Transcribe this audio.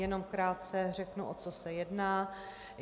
Jenom krátce řeknu, o co se jedná.